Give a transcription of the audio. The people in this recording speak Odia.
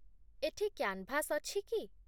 ଏଠି କ୍ୟାନ୍‌ଭାସ୍ ଅଛି କି?